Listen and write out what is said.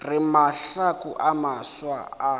re mahlaku a mafsa a